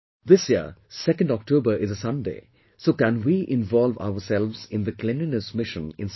This year 2nd October is a Sunday so can we involve ourselves in the cleanliness mission in some way